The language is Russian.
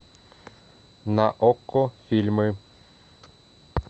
на окко фильмы